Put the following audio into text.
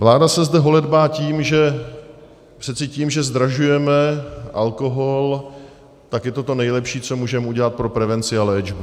Vláda se zde holedbá tím, že přece tím, že zdražujeme alkohol, tak je to to nejlepší, co můžeme udělat pro prevenci a léčbu.